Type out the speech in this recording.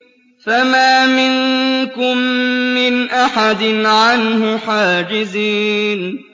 فَمَا مِنكُم مِّنْ أَحَدٍ عَنْهُ حَاجِزِينَ